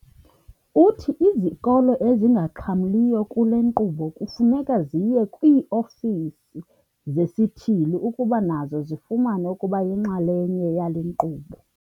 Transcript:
Uthi izikolo ezingaxhamliyo kule nkqubo kufuneka ziye kwii-ofisi zesithili ukuba nazo zifuna ukuba yinxalenye yale nkqubo.